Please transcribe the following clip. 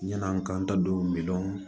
Yann'an k'an ta don miliyɔn